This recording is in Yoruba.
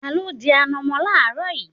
Ta ló dín ànọ̀mó láaaro yìí?